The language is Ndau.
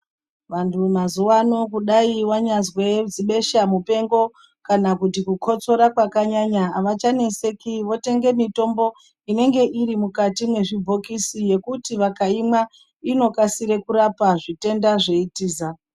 Vandu mazuwa ano dai wanyazwe zibesha mupengo kana kukotsora kwakanyanya avachaneseki votenga mutombo unenge uri mukati mezvibokisi yekuti vakanyamboimwa inokasika kurapa zvitenda zveitiza